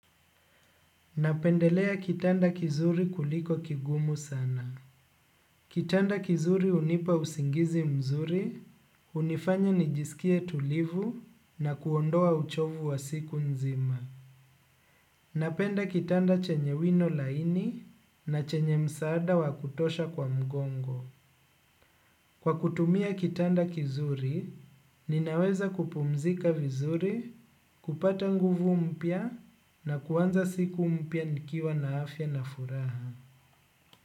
Napendelea kitanda kizuri kuliko kigumu sana. Kitanda kizuri unipa usingizi mzuri, hunifanya nijisikie tulivu na kuondoa uchovu wa siku nzima. Napenda kitanda chenye wino laini na chenye msaada wa kutosha kwa mgongo. Kwa kutumia kitanda kizuri, ninaweza kupumzika vizuri, kupata nguvu mpya na kuwanza siku mpya nikiwa na afya na furaha.